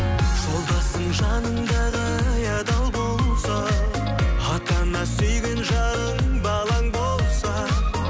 жолдасың жаныңдағы ай адал болса ата ана сүйген жарың балаң болса